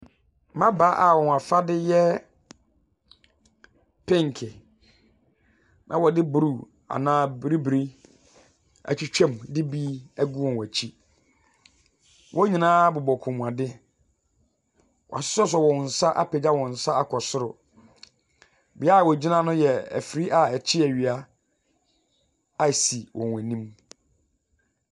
Mmabaawa a wɔn afadeɛ yɛ penke na wɔde bruu anaa biribiri atwitwam de bi agu wɔn akyi. Wɔn nyinaa bobɔ kɔnmuadeɛ, wɔasosɔsosɔ wɔn nsa apagya wɔn nsa akɔ soro. Bea a wɔgyina no yɛ ɛfidie a yɛde kye awia a asi wɔn anim.